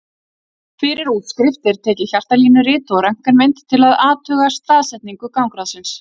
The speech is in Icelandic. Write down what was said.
Fyrir útskrift er tekið hjartalínurit og röntgenmynd til að athuga staðsetningu gangráðsins.